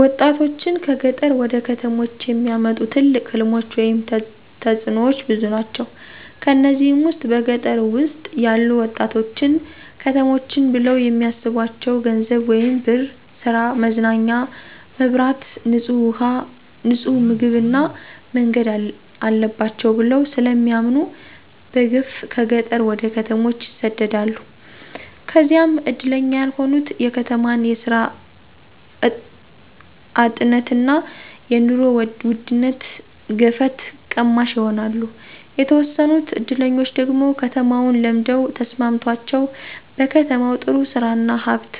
ወጣቶችን ከገጠር ወደ ከተሞች የሚያመጡ ትልቅ ሕልሞች ወይም ተጥኖዎች ብዙ ናቸው። ከነዚህም ውስጥ በገጠር ውስጥ ያሉ ወጣቶች ከተሞችን ብለው የሚስቧቸው ገንዘብ ወይም ብር፣ ሥራ፣ መዝናኛ፣ መብራት፣ ንጡህ ውሃ፣ ንጡህ ምግብ እና መንገድ አለባቸው ብለው ስለሚያምኑ በገፍ ከገጠር ወደ ከተሞች ይሰደዳሉ። ከዚያም እድለኛ ያልሆኑት የከተማን የስራ አጥነትና የኑሮ ውድነት ገፈት ቀማሽ ይሆናሉ። የተወሰኑት እድለኞች ደግሞ ከተማውን ለምደው ተስማምቶቸው በከተማው ጥሩ ስራ እና ሀብት